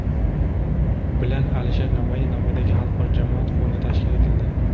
bilan Alisher Navoiy nomidagi xalqaro jamoat fondi tashkil etildi.